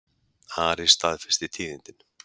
Ari staðfesti tíðindin.